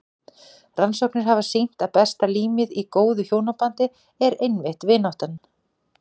Rannsóknir hafa sýnt að besta límið í góðu hjónabandi er einmitt vináttan.